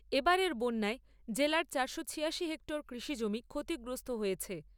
এবারের বন্যায় জেলার চারশো ছিয়াশি হেক্টর কৃষিজমি ক্ষতিগ্রস্ত হয়েছে।